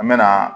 An mɛna